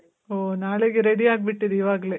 ಓ, ನಾಳೆಗೆ ರೆಡಿ ಆಗ್ಬಿಟ್ಟಿದೆ ಇವಾಗ್ಲೆ.